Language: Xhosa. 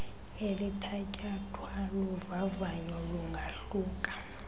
elithatyathwa luvavanyo lungahluka